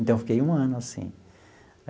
Então, fiquei um ano assim.